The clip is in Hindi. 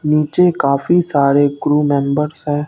नीचे काफी सारे क्रू मेंबर्स हैं।